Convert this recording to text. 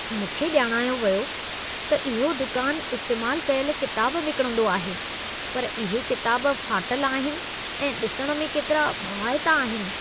मूंखे ॼाणायो वियो हो त इहो दुकान इस्तेमाल कयल किताब विकिणंदो आहे पर इहे किताब फाटल आहिनि ऐं ॾिसणु में केतिरा भवाइता आहिनि।